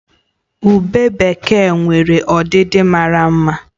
Ubé bekee nwere ọdịdị mara mma